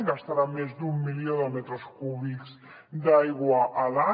gastarà més d’un milió de metres cúbics d’aigua a l’any